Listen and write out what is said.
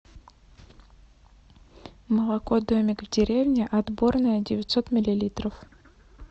молоко домик в деревне отборное девятьсот миллилитров